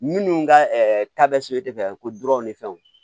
Minnu ka ta bɛ se o tɛ fɛn ko dɔrɔn de fɛ o